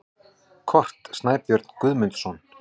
Kort: Snæbjörn Guðmundsson.